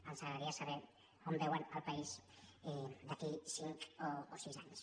ens agradaria saber on veuen el país d’aquí a cinc o sis anys